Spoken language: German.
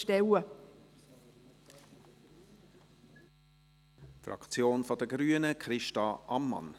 Für die Fraktion der Grünen: Christa Ammann.